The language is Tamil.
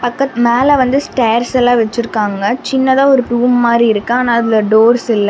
பக்கத் மேல வந்து ஸ்டேர்ஸ்லா வச்சிருக்காங்க. சின்னதா ஒரு ரூம் மாரி இருக்கு ஆன அதுல டோர்ஸ் இல்ல.